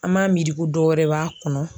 An b'a miiri ko dɔ wɛrɛ b'a kɔnɔ.